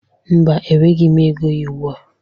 Mba, enweghi ego ya ugbu a.